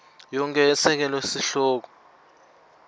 yonkhe yesekela sihloko